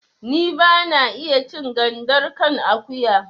Ni ba na iya cin gandar kan akuya